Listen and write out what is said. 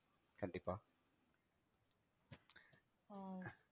ஆஹ்